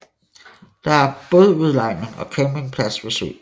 Der er bådudlejning og campingplads ved søen